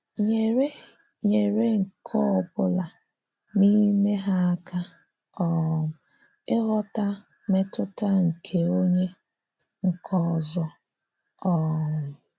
Nyèrè Nyèrè nke ọ̀bụ̀la n’ime hà àká um ịghọ́tà mètùtà nke onye nke òzò. um